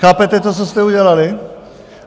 Chápete to, co jste udělali?